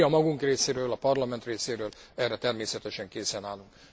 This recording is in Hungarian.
Mi a magunk részéről, a Parlament részéről erre természetesen készen állunk.